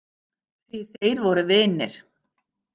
Því þeir voru vinir.